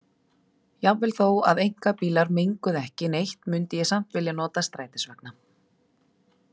Jafnvel þó að einkabílar menguðu ekki neitt mundi ég samt vilja nota strætisvagna.